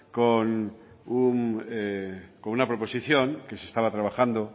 con una proposición que se estaba trabajando